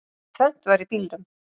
Tvennt var í bílunum.